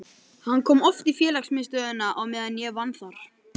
Hann kom oft í félagsmiðstöðina á meðan ég vann þar.